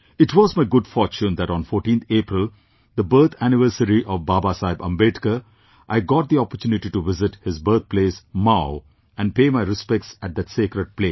It was my good fortune that on 14th April, the birth anniversary of Babasaheb Ambedkar, I got the opportunity to visit his birthplace Mhow and pay my respects at that sacred place